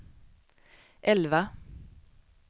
elva